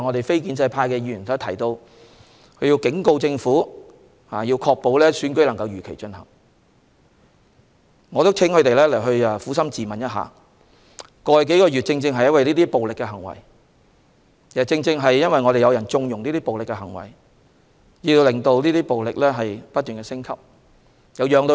非建制派議員剛才指出，他們警告政府必須確保如期進行選舉，但我想請他們撫心自問，過去數月正因為這些暴力行為，以及有人縱容這些暴力行為，導致暴力不斷升級。